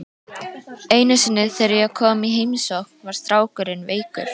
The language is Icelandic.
Einu sinni þegar ég kom í heimsókn var strákurinn veikur.